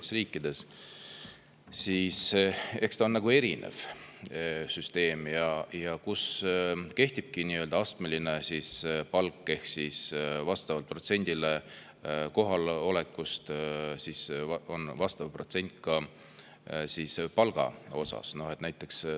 kehtib nii-öelda astmeline palk ehk vastavalt kohaloleku protsendile on ka palgast vastav protsent.